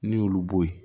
N'i y'olu bɔ yen